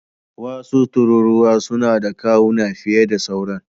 Wasu tururuwa suna da kawuna fiye da sauran.